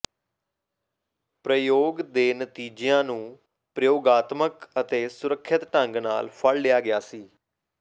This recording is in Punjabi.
ਪ੍ਰਯੋਗ ਦੇ ਨਤੀਜਿਆਂ ਨੂੰ ਪ੍ਰਯੋਗਾਤਮਕ ਅਤੇ ਸੁਰੱਖਿਅਤ ਢੰਗ ਨਾਲ ਫੜ ਲਿਆ ਗਿਆ ਸੀ